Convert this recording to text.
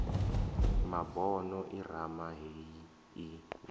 mabono irama heyi i na